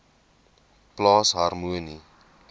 plaas harmonie